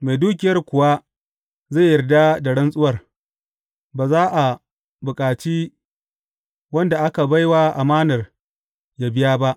Mai dukiyar kuwa zai yarda da rantsuwar, ba za a bukaci wanda aka bai wa amanar yă biya ba.